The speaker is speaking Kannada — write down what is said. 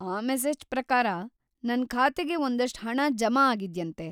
ಆ ಮೆಸೇಜ್‌ ಪ್ರಕಾರ ನನ್ ಖಾತೆಗೆ ಒಂದಷ್ಟು ಹಣ ಜಮಾ ಆಗಿದ್ಯಂತೆ.